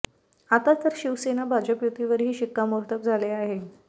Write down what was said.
आता तर शिवसेना भाजप युतीवरही शिक्कामोर्तब झाले आहे